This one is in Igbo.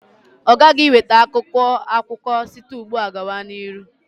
Ọ ghaghị iweta akwụkwọ akụkọ site ugbu a gaa n'ihu.